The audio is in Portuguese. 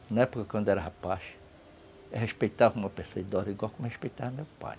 Na época, quando eu era rapaz, eu respeitava uma pessoa idosa igual como eu respeitava meu pai.